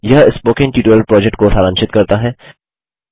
यह spoken tutorial project को सारांशित करता है